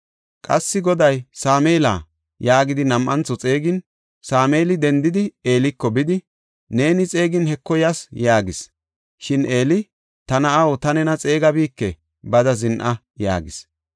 Qassi Goday, “Sameela” yaagidi nam7antho xeegin, Sameeli dendidi, Eeliko bidi, “Neeni xeegin Heko yas” yaagis. Shin Eeli, “Ta na7aw, ta nena xeegabike; bada zin7a” yaagis.